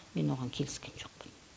мен оған келіскен жоқпын